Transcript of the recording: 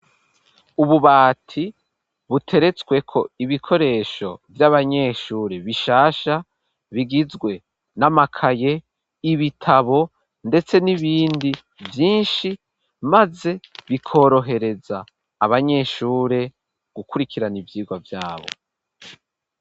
Ububati buteretswe ko ibikoresho vy'abanyeshure bishasha bigizwe n'amakaye ibitabo ndetse n'ibindi vyinshi maze bikorohereza abanyeshure gukurikirana ivyirwa vyabo.